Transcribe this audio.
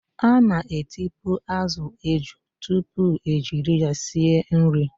A na-etipu azụ eju tupu ejiri ya sie nri.